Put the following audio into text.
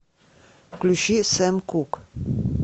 включи сэм кук